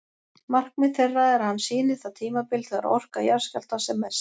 Markmið þeirra er að hann sýni það tímabil þegar orka jarðskjálftans er mest.